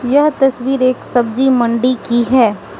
यह तस्वीर एक सब्जी मंडी की है।